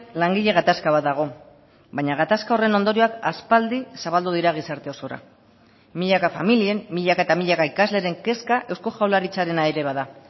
langile gatazka bat dago baina gatazka horren ondorioak aspaldi zabaldu dira gizarte osora milaka familien milaka eta milaka ikasleren kezka eusko jaurlaritzarena ere bada